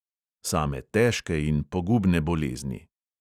Same težke in pogubne bolezni.